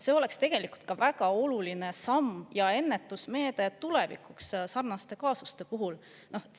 See oleks tegelikult ka väga oluline samm ja ennetusmeede tulevikuks sarnaste kaasuste puhul.